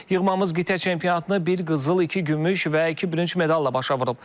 Yığmamız qitə çempionatını bir qızıl, iki gümüş və iki bürünc medalla başa vurub.